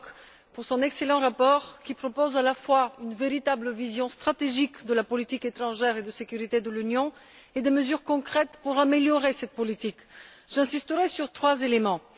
Brok pour son excellent rapport, qui propose à la fois une véritable vision stratégique de la politique étrangère et de sécurité de l'Union et des mesures concrètes pour améliorer cette politique. J'insisterai sur trois éléments.